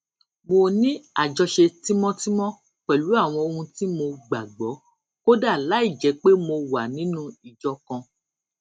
mo ní àjọṣe tímótímó pèlú àwọn ohun tí mo gbà gbó kódà láìjé pé mo wà nínú ìjọ kan